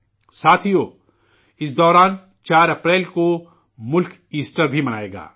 ساتھیو، اس دوران 4 اپریل کو ملک ایسٹر بھی منائے گا